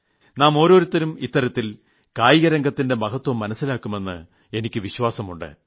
നാം ഓരോരുത്തരും ഇത്തരത്തിൽ കായിക രംഗത്തിന്റെ മഹത്വം മനസ്സിലാക്കുമെന്ന് എനിക്ക് വിശ്വാസമുണ്ട്